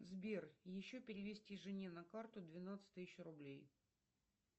сбер еще перевести жене на карту двенадцать тысяч рублей